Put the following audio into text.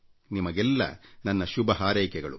ನಿಮಗೆಲ್ಲಾ ನನ್ನ ಶುಭಹಾರೈಕೆಗಳು